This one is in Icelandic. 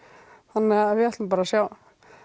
þannig við ætlum bara að sjá